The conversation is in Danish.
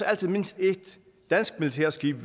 altid mindst ét dansk militært skib